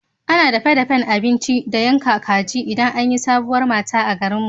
Ana dafe-dafen abinci da yanka kaji idan an yi sabuwar mata a garinmu.